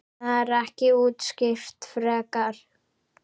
Það er ekki útskýrt frekar.